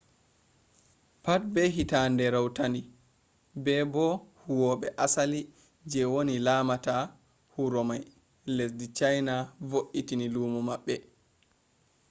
pat be hitande rautandi be bo huwwoɓe asali je woni lamata huromai lesɗi china voitini lumo maɓɓe